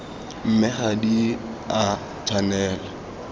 mme ga di a tshwanela